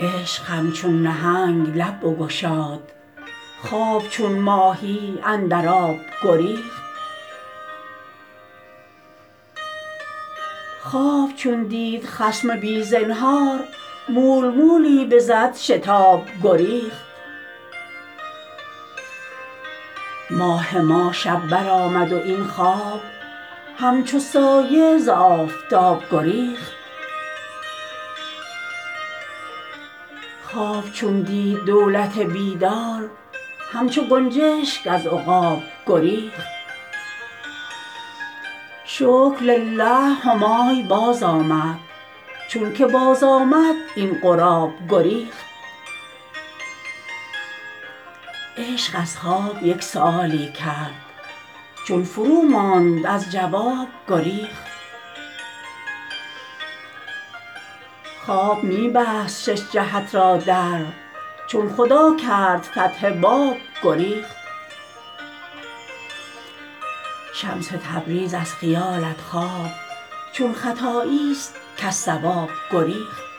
عشق همچون نهنگ لب بگشاد خواب چون ماهی اندر آب گریخت خواب چون دید خصم بی زنهار مول مولی بزد شتاب گریخت ماه ما شب برآمد و این خواب همچو سایه ز آفتاب گریخت خواب چون دید دولت بیدار همچو گنجشک از عقاب گریخت شکرلله همای بازآمد چونک باز آمد این غراب گریخت عشق از خواب یک سؤالی کرد چون فروماند از جواب گریخت خواب می بست شش جهت را در چون خدا کرد فتح باب گریخت شمس تبریز از خیالت خواب چون خطاییست کز صواب گریخت